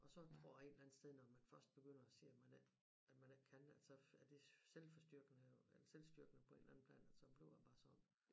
Og så tror jeg en eller anden sted når man først begynder at sige at man ikke at man ikke kan at så er det selvforstyrkende eller selvstyrkende på en eller anden plan at så bliver det bare sådan